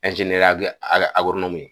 ye.